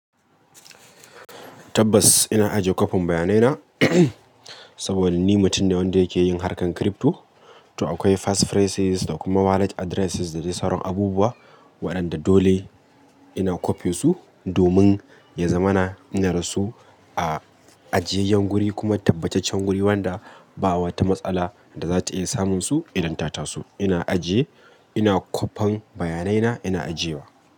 Tabbas ina ajiye kopin bayanai na, saboda ni mutum ne wanda yake yin harkan crypto. To akwai pass phrases da kuma wallet addresses da dai sauran abubuwa waɗanda dole ina kopiyosu domin ya zamana inadasu a ajiyayyen guri kuma tabbacaccen guri wanda ba wata matsala da za ta iya samunsu idan ta taso. Ina ajiye, ina kwafen bayanai na ina ajiyewa.